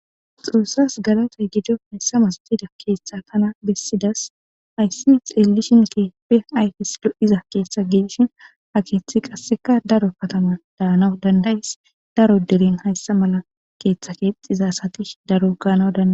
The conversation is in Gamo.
Xoosas galatay gido haysa masatida keththa tana besidas. haysi xeelishin keehippe ayfesi lo7iza keththa gidishin ha keththay qaseka darobatan dhayanaw danda7es. daro deren haysa mala keththa kexiza asati daro ganaw dand